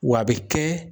W'a be kɛ